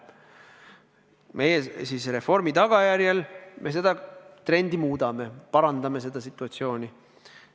Meie oma reformiga seda trendi muudame, parandame seda situatsiooni.